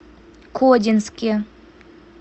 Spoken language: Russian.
кодинске